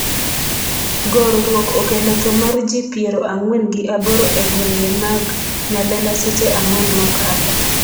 gorruok okelo tho mar jii piero ang'wen gi aboro e gwenge mang Nyalenda seche ang'wen mokalo